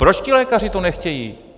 Proč ti lékaři to nechtějí?